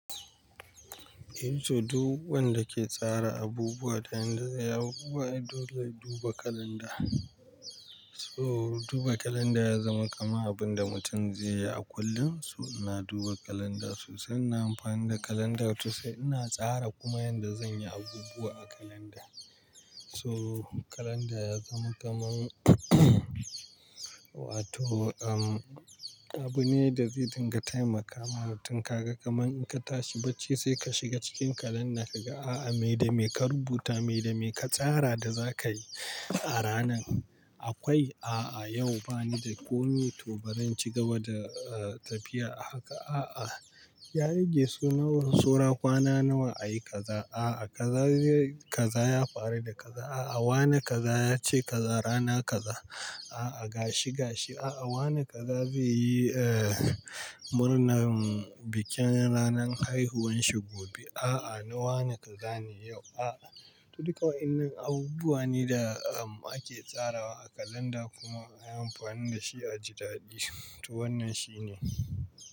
Yanzu duk wanda ke tsara abubuwa da yanda zai yi abubuwa dole ya duba kalanda. So duba kalanda ya zama kamar abin da mutum zai yi a kullum. So ina duba kalanda sosai, ina amfani da kalanda sosai, ina tsara kuma yanda zan yi abubuwa a kalanda. So kalanda ya zama kamar wato, um, abu ne da zai dinga taimakawa mutum kaga kamar in ka tashi bacci sai ka shiga cikin kalanda ka ga, a'a me da me ka rubuta, me da me ka tsara da za ka yi a ranan. Akwai, a'a yau bani da komi to bari in cigaba da tafiya a haka, a'a. Ya rage sunayen saura kwana nawa a yi kaza, a'a. Kaza ya fara da kaza, a'a. Wane kaza ya ce kaza rana kaza, a'a. Gashi gashi, a'a. Wane kaza zai yi, eh, murnar bikin ranan haihuwanshi gobe, a'a. Na wane kaza ne yau, a'a. To duk waannan abubuwa ne da ake tsarawa a kalanda kuma ana amfani da shi a jitaɗi. To wannan shi ne.